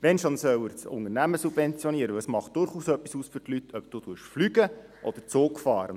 Wenn schon, soll er das Unternehmen subventionieren, weil es für die Leute durchaus etwas ausmacht, ob man fliegt oder den Zug nimmt.